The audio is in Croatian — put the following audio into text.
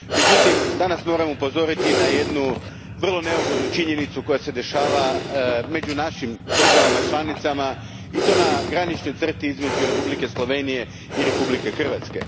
Međutim, danas moram upozoriti na jednu vrlo neugodnu činjenicu koja se događa među našim državama članicama i to na graničnoj crti između Republike Slovenije i Republike Hrvatske.